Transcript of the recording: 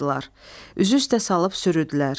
Üzü üstə salıb sürüdülər.